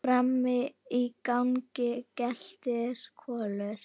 Frammi í gangi geltir Kolur.